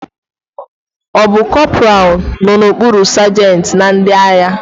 Ọ bụ corporal nọ n'okpuru sajentị na ndị agha?